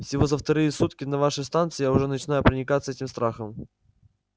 всего за вторые сутки на вашей станции я уже начинаю проникаться этим страхом